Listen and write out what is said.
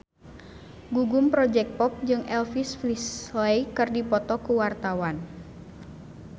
Gugum Project Pop jeung Elvis Presley keur dipoto ku wartawan